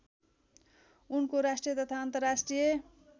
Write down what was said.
उनको राष्ट्रिय तथा अन्तर्राष्ट्रिय